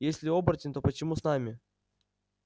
если оборотень то почему с нами